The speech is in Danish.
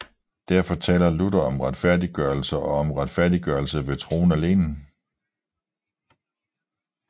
Derfor taler Luther om retfærdiggørelse og om retfærdiggørelse ved troen alene